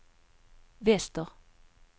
väster